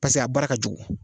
Pasek' a baara ka kojugu